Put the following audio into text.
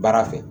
Baara fɛ